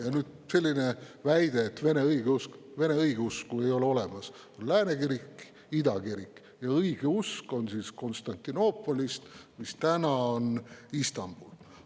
Ja nüüd selline väide, et vene õigeusku ei ole olemas, on lääne kirik ja ida kirik ning õigeusk on Konstantinoopolist, mis tänapäeval on Istanbul.